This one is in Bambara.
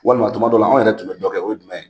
Walima tuma dɔ la anw yɛrɛ tun bɛ dɔ kɛ o ye jumɛn ye ?